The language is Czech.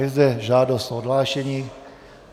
Je zde žádost o odhlášení.